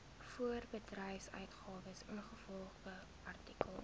voorbedryfsuitgawes ingevolge artikel